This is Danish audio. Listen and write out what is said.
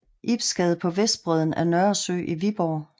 Ibs Gade på vestbredden af Nørresø i Viborg